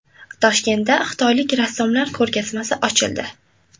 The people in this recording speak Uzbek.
Toshkentda xitoylik rassomlar ko‘rgazmasi ochildi.